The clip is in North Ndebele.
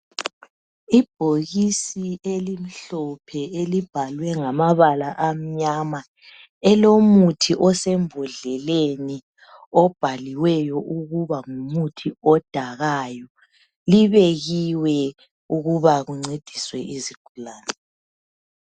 Ibhokisi elimhlophe elibhalwe ngamabala amnyama, elomuthi osembodleleni obhaliweyo ukuba ngumuthi odakayo. Libekiwe ukuba kuncediswe izigulane.